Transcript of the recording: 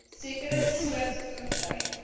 sekere soorte voertuie